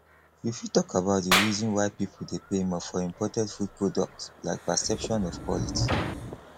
you fit talk about di reason why people dey pay more for imported food products like perception of quality